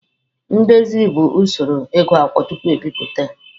Ndezi bụ usoro ịgụ akwụkwọ tupu e bipụta ya.